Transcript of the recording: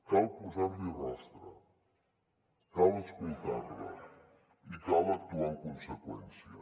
cal posar li rostre cal escoltar la i cal actuar en conseqüència